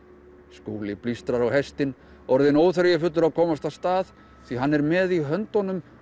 Skúli blístrar á hestinn orðinn óþreyjufullur að komast af stað því hann er með í höndunum